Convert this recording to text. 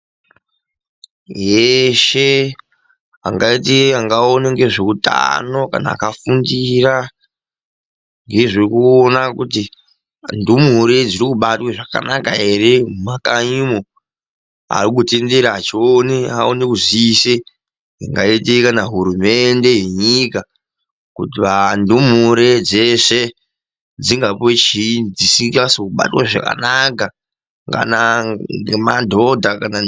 Yeshe angaite angaona ngezveutano kana akafundira ngezvekuona kuti ndumure dziri kubatwe zvakanaka here mumakanyi umo. Arikutenderera achione aone kuziise ingaite kana hurumende yenyika kuti vandumure dzeshe dzingapuwe chiinyi dzisingazi kubatwa zvakanaka kana ngemadhodha.